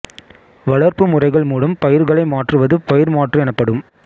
வளர்ப்பு முறைகள் மூலம் பயிர்களை மாற்றுவது பயிர் மாற்று எனப்படும்